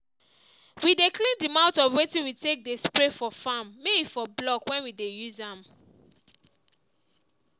we dey clean the mouth of wetin we take dey spray for farm may e for block when we dey use am